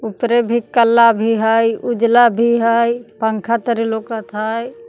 उपरे भी कला भी हई उजला भी हई पंखा तरी लौकत हई।